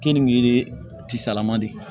Keninge tisaalaman de ye